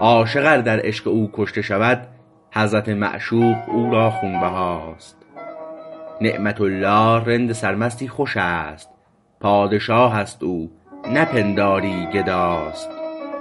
عاشق ار در عشق او کشته شود حضرت معشوق او را خونبهاست نعمت الله رند سرمستی خوشست پادشاهست او نپنداری گداست